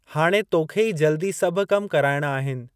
हाणे तोखे ई जल्दी सभु कम कराइणा आहिनि।